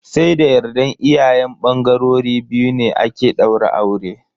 Sai da yardar iyayen bangarori biyu ne ake daura aure.